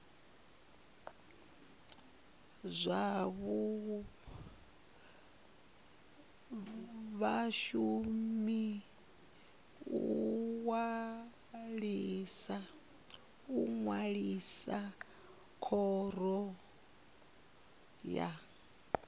vhashumi u ṅwalisa khoro ya